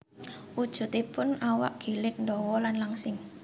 Wujudipun awak gilig ndawa lan langsing